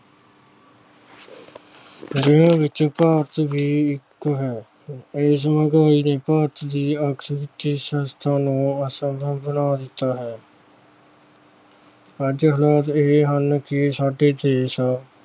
ਜਿਹਨਾਂ ਵਿੱਚੋਂ ਭਾਰਤ ਵੀ ਇਕ ਹੈ। ਇਸ ਮਹਿੰਗਾਈ ਨੇ ਭਾਰਤ ਦੀ ਨੂੰ ਅਸੰਭਵ ਬਣਾ ਦਿੱਤਾ ਹੈ। ਅੱਜ ਹਾਲ ਇਹ ਹਨ ਕਿ ਸਾਡੇ ਦੇਸ਼